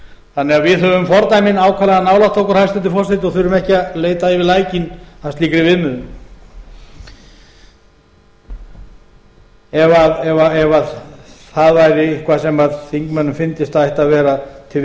þannig að við höfum fordæmin ákaflega nálægt okkur hæstvirtur forseti og þurfum ekki að leita yfir lækinn að slíkri viðmiðun ef það væri eitthvað sem þingmönnum fyndist að ætti að vera til